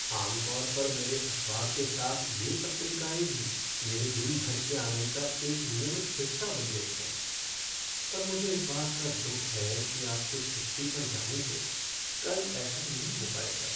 आम तौर पर मेरे अखबार के साथ ये पत्रिकाएँ भी मेरे दिन भर के आनंद का एक नियमित हिस्सा बन गई हैं, पर मुझे इस बात का दुख है कि आपके छुट्टी पर जाने से कल ऐसा नहीं हो पाएगा।